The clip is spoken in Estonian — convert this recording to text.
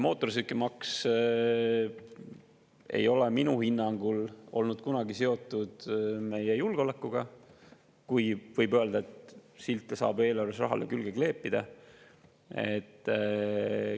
Mootorsõidukimaks ei ole minu hinnangul olnud kunagi seotud meie julgeolekuga, no kui võib öelda, et silte saab eelarves rahale külge kleepida.